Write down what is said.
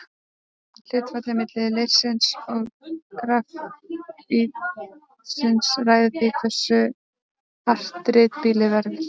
Hlutfallið milli leirsins og grafítsins ræður því hversu hart ritblýið verður.